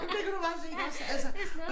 Der kan du bare se iggås altså